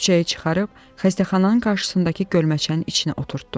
Küçəyə çıxarıb xəstəxananın qarşısındakı gölməçənin içinə oturtdum.